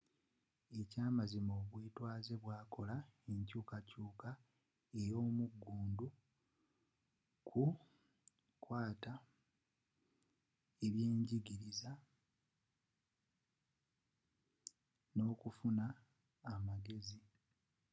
ekyamazima obwetwaaze bwakola enkyukakyuka ey'omugundu ku nkwata y'ebyenjigiriza n'okufuna amagezi